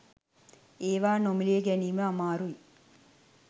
ඒවා නොමිලේ ගැනීම අමාරුයි